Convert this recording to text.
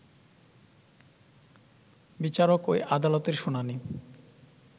বিচারক ওই আদালতের শুনানি